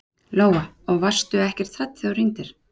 Lóa: Og varstu ekkert hrædd þegar þú hringdir?